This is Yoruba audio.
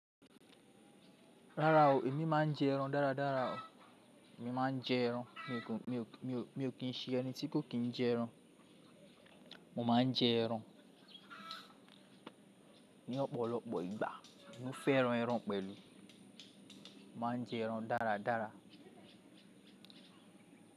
Rárá o, èmi máa ń jẹ ẹran dáradára o. Èmi máa ń jẹ ẹran, mi ò kí ń ṣe ẹni tí kò kí ń jẹ ẹran. Mo máa ń jẹ ẹran ní ọ̀pọ̀lọpọ̀ ìgbà. Mo fẹ́ran ẹran pẹ̀lú. Mo máa ń jẹ ẹran dáradára.